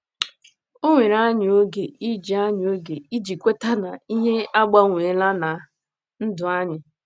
O were anyị oge iji anyị oge iji kweta na ihe agbanweela ná um ndụ anyị. um